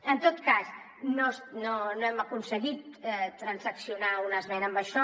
en tot cas no hem aconseguit transaccionar una esmena amb això